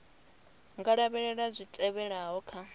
nga lavhelela zwi tevhelaho kha